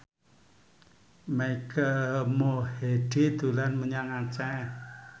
Mike Mohede dolan menyang Aceh